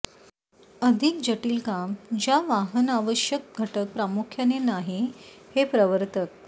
अधिक जटिल काम ज्या वाहन आवश्यक घटक प्रामुख्याने नाही हे प्रवर्तक